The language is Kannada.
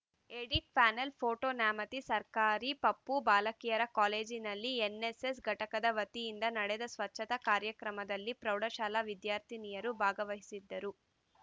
ಎಡಿಟ್‌ ಪ್ಯಾನೆಲ್‌ ಫೋಟೋ ನ್ಯಾಮತಿ ಸರ್ಕಾರಿ ಪಪೂ ಬಾಲಕಿಯರ ಕಾಲೇಜಿನಲ್ಲಿ ಎನ್‌ಎಸ್‌ಎಸ್‌ ಘಟಕದ ವತಿಯಿಂದ ನಡೆದ ಸ್ವಚ್ಛತಾ ಕಾರ್ಯಕ್ರಮದಲ್ಲಿ ಪ್ರೌಢಶಾಲಾ ವಿದ್ಯಾರ್ಥಿನಿಯರು ಭಾಗವಹಿಸಿದ್ದರು